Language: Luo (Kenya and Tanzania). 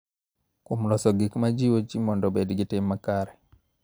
Kuom loso gik ma jiwo ji mondo obed gi tim makare.